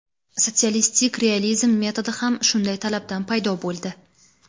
Sotsialistik realizm metodi xam shunday talabdan paydo bo‘ldi.